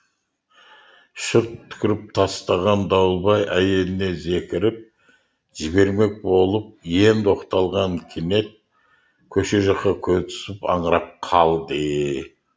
шырт түкіріп тастаған дауылбай әйеліне зекіріп жібермек болып енді оқталған кенет көше жаққа көзі түсіп аңырап қалды